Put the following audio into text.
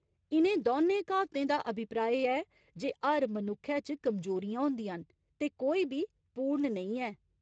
इ'नें दौनें क्हावतें दा अभिप्राय ऐ जे हर मनुक्खै च कमजोरियें होंदियां न ते कोई बी पूर्ण नेईं ऐ।